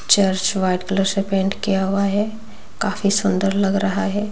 Church white colour से paint किया हुआ है काफी सुंदर लग रहा है।